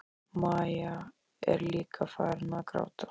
Maja er líka farin að gráta.